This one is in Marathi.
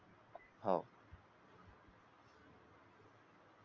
हो